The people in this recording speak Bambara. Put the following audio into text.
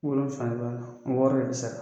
Wolonfula le b'a la wɔɔrɔ le bi sara.